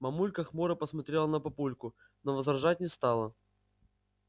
мамулька хмуро посмотрела на папульку но возражать не стала